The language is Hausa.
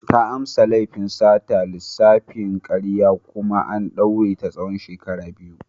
Ta amsa laifin sata da lissafin karya kuma an daure ta tsawon shekaru biyu.